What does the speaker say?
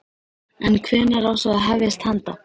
En hvenær á svo að hefjast handa?